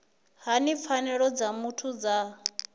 hani pfanelo dza muthu dza